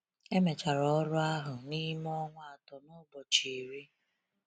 Emechara ọrụ ahụ n’ime ọnwa atọ na ụbọchị iri.